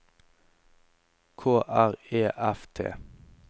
K R E F T